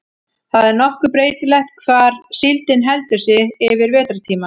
það er nokkuð breytilegt hvar síldin heldur sig yfir vetrartímann